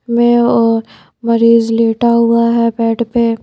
में और मरीज लेटा हुआ है बेड पे--